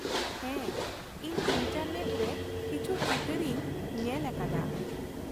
ᱦᱮᱸ, ᱤᱧ ᱤᱱᱴᱟᱨᱱᱮᱴ ᱨᱮ ᱠᱤᱪᱷᱩ ᱪᱤᱛᱟᱹᱨ ᱤᱧ ᱧᱮᱞ ᱟᱠᱟᱫᱟ ᱾